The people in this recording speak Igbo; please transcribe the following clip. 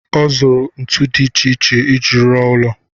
Ọ zụrụ ntu dị iche iche iji ruo ụlọ.